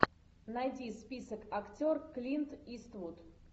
найди список актер клинт иствуд